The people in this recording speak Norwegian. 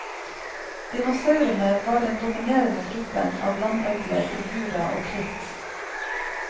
Dinosaurene var den dominerende gruppen av landøgler i jura og kritt.